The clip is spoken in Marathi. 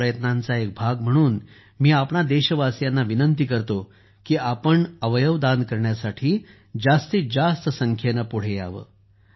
या प्रयत्नांचा एक भाग म्हणून मी आपणां देशवासियांना विनंती करतो की आपण अवयवदान करण्यासाठी जास्तीत जास्त संख्येने पुढे यावे